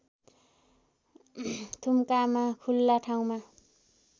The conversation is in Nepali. थुम्कामा खुला ठाउँमा